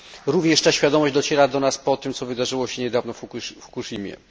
Również ta świadomość dociera do nas po tym, co wydarzyło się niedawno w Fukushimie.